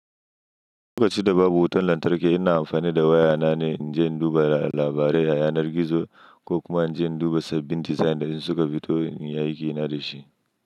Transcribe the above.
Duk da ce da babu wutan lantarki, ina amfani da waya na ne in je in duba labarai a yanar gizo ko kuma in je in duba sabbin dizain da in suka fito in yi aiki na da shi.